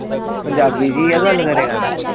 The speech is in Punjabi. ਪੰਜਾਬੀ ਚ ਹੀ ਗੱਲ ਕਰੇਗਾ ਨਾ